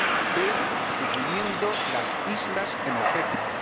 b suprimiendo las islas energéticas